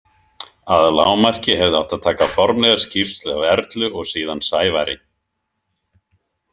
Að lágmarki hefði átt að taka formlega skýrslu af Erlu og síðan Sævari.